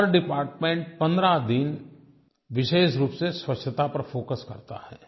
हर department 15 दिन विशेष रूप से स्वच्छता पर फोकस करता है